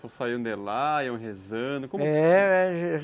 Tu saiu de lá, iam rezando?